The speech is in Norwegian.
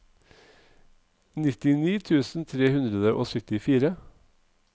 nittini tusen tre hundre og syttifire